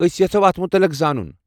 أسۍ یژھو اتھ متعلق زانن۔